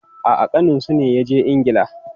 A'a, ƙaninsu ne ya je Ingila.